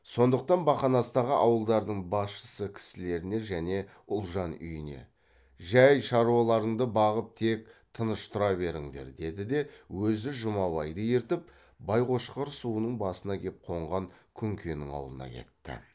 сондықтан бақанастағы ауылдардың басшы кісілеріне және ұлжан үйіне жай шаруаларыңды бағып тек тыныш тұра беріңдер деді де өзі жұмабайды ертіп байқошқар суының басына кеп қонған күнкенің аулына кетті